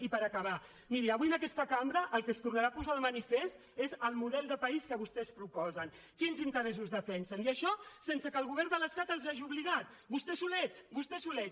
i per acabar miri avui en aquesta cambra el que es tornarà a posar de manifest és el model de país que vostès proposen quins interessos defensen i això sen·se que el govern de l’estat els hi hagi obligat vos·tès solets vostès solets